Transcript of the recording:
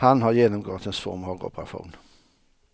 Han har genomgått en svår magoperation.